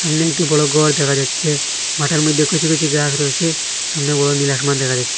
সামনে একটি বড় গর দেখা যাচ্ছে মাঠের মধ্যে কিছু কিছু গাস রয়েছে সামনে বড় নীলা আসমান দেখা যাচ্ছে।